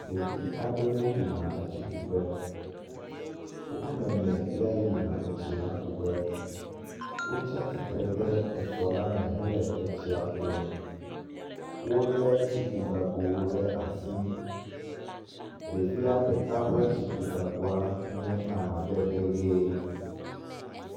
Ɖevi aɖewo yina etsi ku ƒe. Woƒe woamene yea yina etsi la ku ƒe. Wotsia tsitre ɖe tɔ la me hele etsia kum. Wolé tsikugagowo ɖe asi. Ɖevia ɖeka ƒe tsikugagoa nye amadede ʋie